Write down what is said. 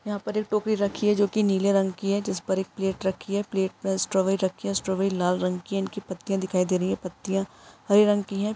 यहाँ पर एक टोकरी रखी है जो कि नीले रंग की है जिस पर एक प्लेट रखी है प्लेट में स्ट्रॉबेरी रखी है स्ट्रॉबरी लाल रंग की इनकी पत्तियाँ दिखाई दे रही है पत्तियाँ हरी रंग की हैं।